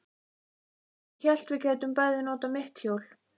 Ég hélt við gætum bæði notað mitt hjól.